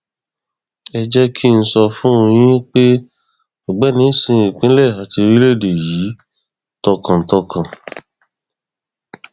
ẹ jẹ kí n sọ fún yín pé ọgbẹni sin ìpínlẹ àti orílẹèdè yìí tọkàntọkàn